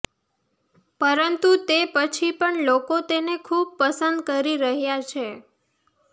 પરંતુ તે પછી પણ લોકો તેને ખૂબ પસંદ કરી રહ્યા છે